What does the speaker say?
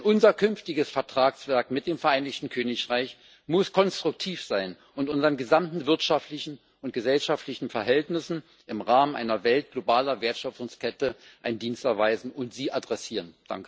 Denn unser künftiges Vertragswerk mit dem Vereinigten Königreich muss konstruktiv sein und unseren gesamten wirtschaftlichen und gesellschaftlichen Verhältnissen im Rahmen einer Welt globaler Wertschöpfungskette einen Dienst erweisen und sie adressieren.